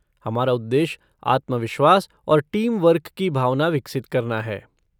हमारा उद्देश्य आत्मविश्वास और टीम वर्क की भावना विकसित करना है।